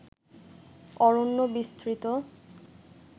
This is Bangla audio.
অরণ্য বিস্তৃত